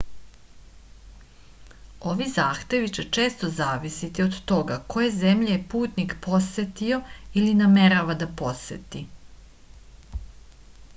ovi zahtevi će često zavisiti od toga koje zemlje je putnik posetio ili namerava da poseti